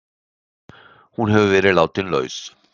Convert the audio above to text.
Hún hefur verið látin laus